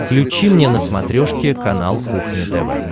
включи мне на смотрешке канал кухня тв